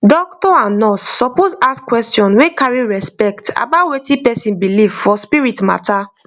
doctor and nurse suppose ask question wey carry respect about wetin person believe for spirit matter